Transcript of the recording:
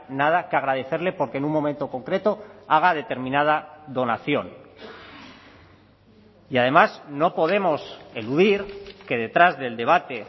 nada que agradecerle porque en un momento concreto haga determinada donación y además no podemos eludir que detrás del debate